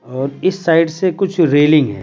और इस साइड से कुछ रेलिंग है।